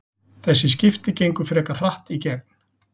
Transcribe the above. Þessi skipti gengu frekar hratt í gegn.